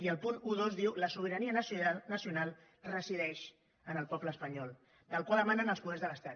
i el punt dotze diu la sobirania nacional resideix en el poble espanyol del qual emanen els poders de l’estat